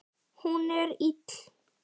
Hún er ill.